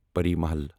Pari Mahal